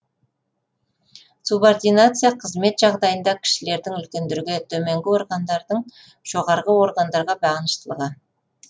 субординация қызмет жағдайында кішілердің үлкендерге төменгі органдардың жоғарғы органдарға бағыныштылығы